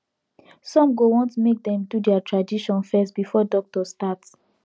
some go want make dem do their tradition first before doctor start